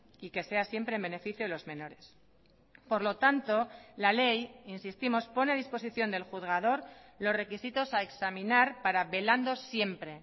y que sea siempre en beneficio de los menores por lo tanto la ley insistimos pone a disposición del juzgador los requisitos a examinar para velando siempre